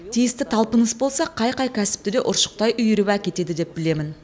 тиісті талпыныс болса қай қай кәсіпті де ұршықтай үйіріп әкетеді деп білемін